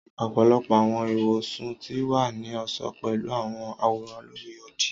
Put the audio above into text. ọpọlọpọ awọn iwosun ti wa ni ọṣọ pẹlu awọn aworan lori odi.